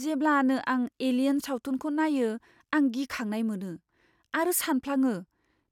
जेब्लानो आं "एलियेन" सावथुनखौ नायो, आं गिखांनाय मोनो आरो सानफ्लाङो